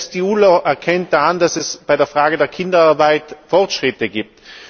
Selbst die UNO erkennt da an, dass es bei der Frage der Kinderarbeit Fortschritte gibt.